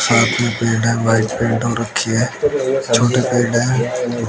साथ में रखी है छोटे पेड़ हैं।